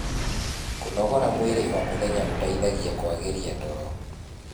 kũnogora mwĩrĩ o mũthenya gũteithagia kuagirĩa toro